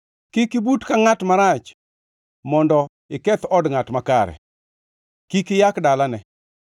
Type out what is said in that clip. Kik ibut ka ngʼat marach mondo iketh od ngʼat makare, kik iyak dalane,